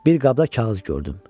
Bir qabda kağız gördüm.